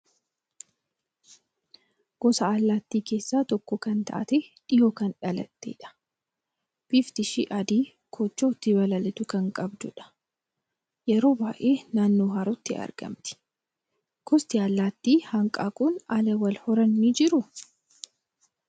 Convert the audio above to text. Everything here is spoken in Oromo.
Gosa allaattii keessaa tokko kan taate, dhihoo kan dhalattedha. Bifti ishii adii koochoo ittiin balaliitu kan qabdu dha. Yeroo baay'ee naannoo harootti argamti. Gosti allaattii hanqaaquun ala wal horan ni jiruu?